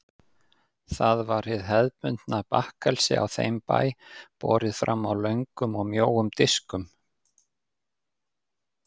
Það var hið hefðbundna bakkelsi á þeim bæ, borið fram á löngum og mjóum diskum.